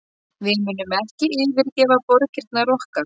Við munum ekki yfirgefa borgirnar okkar